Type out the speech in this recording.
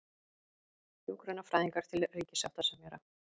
Hjúkrunarfræðingar til ríkissáttasemjara